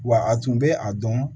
Wa a tun bɛ a dɔn